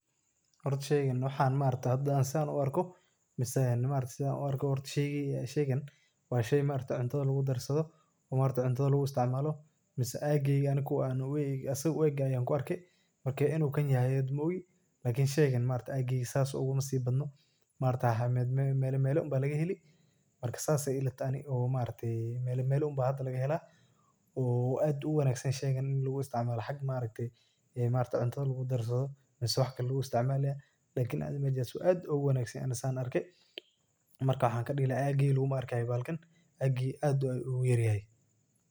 Hoorta sheegan waxan maaragtah, hada saan u arkoh mise, maaragtay setha u arkoh, wa sheey maaragtay cuuntaha lagu darsathoh oo maaragtay cuntatha lagu isticmaloh, mise aygeyga kuwa AA u geeyn kuwa saaga uu eeg Aya ku arkay, marka inu kan yahay maogi lakni sheegayn sethasi UGA nasib batnoo maargtahay meela meela ama laga heeli marka saas Aya ilatahay maaragtay meela meela ama hada laga heelah, oo aad Aya u wanagsantahay sheekan xaga maaragtay cuuntaha lagu darsathoh mise waxkali lagu isticmaloh aad Aya ugu wanagsanya Anika setha arkay markan waxan ladehi lahay aygey malagu arkay aad ayu ugu yaryahay.